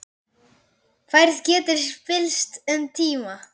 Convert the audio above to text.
Færð getur spillst um tíma.